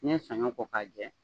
N'i ye sanɲɔ ko k'a jɛ